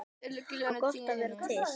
Það var gott að vera til.